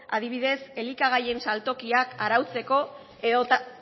adibidez elikagaien saltokiak arautzeko edota